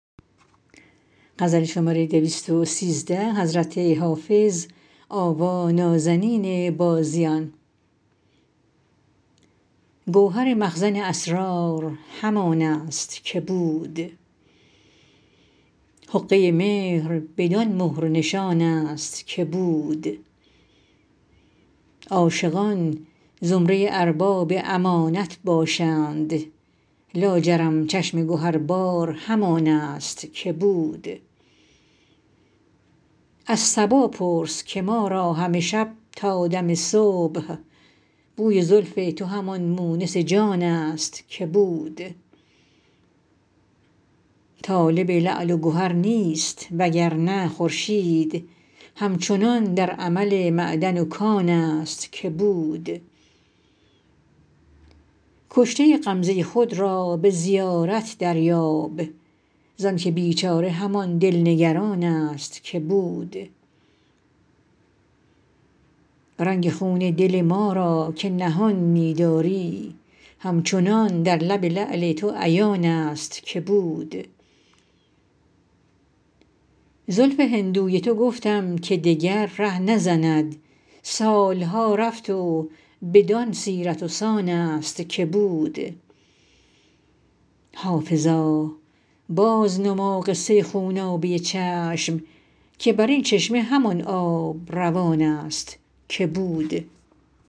گوهر مخزن اسرار همان است که بود حقه مهر بدان مهر و نشان است که بود عاشقان زمره ارباب امانت باشند لاجرم چشم گهربار همان است که بود از صبا پرس که ما را همه شب تا دم صبح بوی زلف تو همان مونس جان است که بود طالب لعل و گهر نیست وگرنه خورشید هم چنان در عمل معدن و کان است که بود کشته غمزه خود را به زیارت دریاب زانکه بیچاره همان دل نگران است که بود رنگ خون دل ما را که نهان می داری همچنان در لب لعل تو عیان است که بود زلف هندوی تو گفتم که دگر ره نزند سال ها رفت و بدان سیرت و سان است که بود حافظا بازنما قصه خونابه چشم که بر این چشمه همان آب روان است که بود